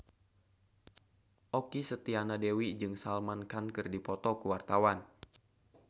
Okky Setiana Dewi jeung Salman Khan keur dipoto ku wartawan